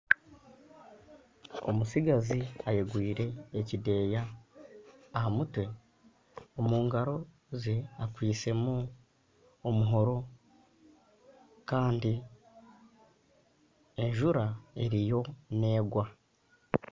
Omutsigazi ayegwire ekideeya aha mutwe. Omu ngaro ze akwitse mu omuhoro Kandi enjura eriyo negwa.